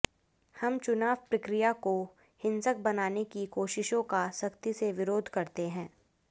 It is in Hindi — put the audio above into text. हम चुनाव प्रक्रिया को हिंसक बनाने की कोशिशों का सख्ती से विरोध करते हैं